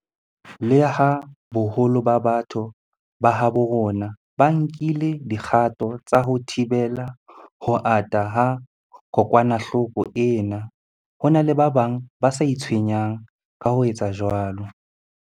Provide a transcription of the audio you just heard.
Leha boholo ba batho ba habo rona ba nkile dikgato tsa ho thibela ho ata ha kokwanahloko ena, ho na le ba bang ba sa itshwenyang ka ho etsa jwalo.